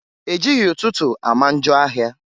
E jighi ụtụtụ ama njọ ahịa.